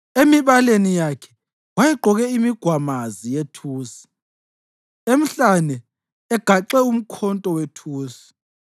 emibaleni yakhe wayegqoke imigwamazi yethusi, emhlane egaxe umkhonto wethusi.